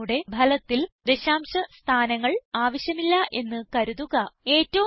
നമുക്ക് നമ്മുടെ ഫലത്തിൽ ദശാംശ സ്ഥാനങ്ങൾ ആവശ്യമില്ല എന്ന് കരുതുക